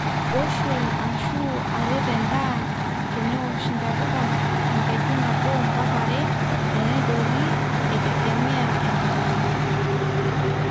wuxual ashu aret endaa tenewosh ntapuka enkejunnabo mpaka are teedori eitegemea enkabila